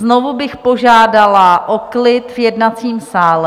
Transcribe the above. Znovu bych požádala o klid v jednacím sále.